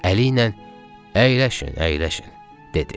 Əli ilə əyləşin, əyləşin, dedi.